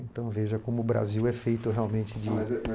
Então veja como o Brasil é feito realmente de